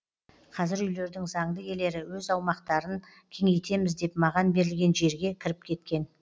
қазір үйлердің заңды иелері өз аумақтарын кеңейтеміз деп маған берілген жерге кіріп кеткен